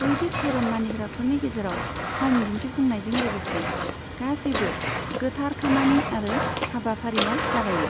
बैदिक धोरोम मानिग्राफोरनि गेजेराव ह'म दिन्थिफुंनायजों लोगोसे गासैबो गोथार खामानि आरो हाबाफारिया जागायो।